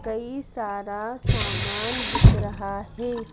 कई सारा सामान बिक रहा है।